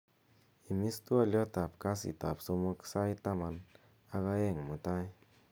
imis twolyot ab kasit ab somok sait taman ak oeng' mutai